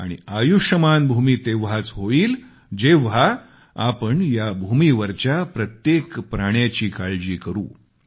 आणि आयुष्मान भूमी तेव्हाच होईल जेव्हा आपण या भूमीवरच्या प्रत्येक प्राण्याची काळजी करू